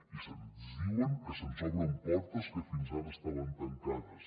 i ens diuen que se’ns obren portes que fins ara estaven tancades